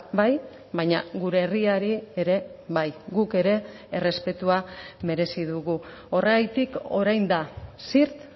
bai baina gure herriari ere bai guk ere errespetua merezi dugu horregatik orain da zirt